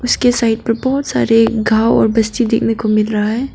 उसके साइड पर बहोत सारे गांव और बस्ती देखने को मिल रहा है।